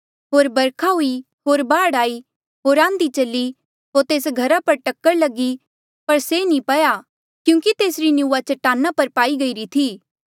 होर बरखा हुई होर बाढ़ आई होर आंधी चली होर तेस घरा पर टक्कर लगी पर से नी पया क्यूंकि तेसरी निंऊँआं चटाना पर पाई गईरी थी